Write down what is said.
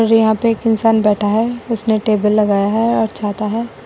और यहां पर एक इंसान बैठा है उसने टेबल लगाया है और छाता है।